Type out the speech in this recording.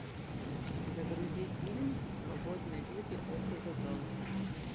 загрузи фильм свободные люди округа джонс